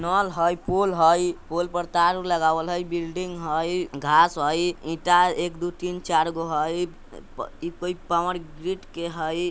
नल हइ पोल हइ पोल पर तार लगावल हइ बिल्डिंग हइ घांस हइ ईंटा एक दो-तीन चारगो हइ इ प कोई पॉवरग्रीड के हइ।